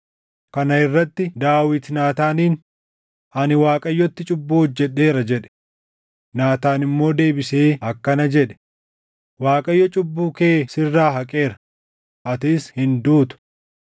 Kana irratti Daawit Naataaniin, “Ani Waaqayyotti cubbuu hojjedheera” jedhe. Naataan immoo deebisee akkana jedhe; “ Waaqayyo cubbuu kee sirraa haqeera; atis hin duutu.